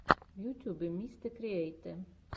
в ютьюбе мистэкриэйтэ